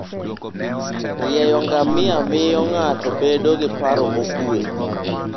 Rieyo ngamia miyo ng'ato bedo gi paro mokuwe.